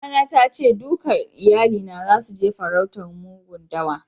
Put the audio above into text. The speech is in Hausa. Mama na ta ce dukan iyalina zasu je farautar mugun dawa.